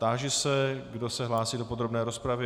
Táži se, kdo se hlásí do podrobné rozpravy.